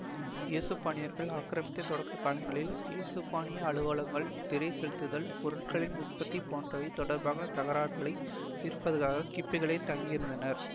ஏசுப்பானியர்கள் ஆக்கிரமித்த தொடக்க காலங்களில் ஏசுப்பானிய அலுவலர்கள் திறை செலுத்தல் பொருட்களின் உற்பத்தி போன்றவை தொடர்பான தகராறுகளைத் தீர்ப்பதற்கு கிப்புக்களிலேயே தங்கியிருந்தனர்